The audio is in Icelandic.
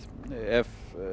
ef